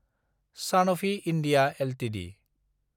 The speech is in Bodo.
Sanofi India Ltd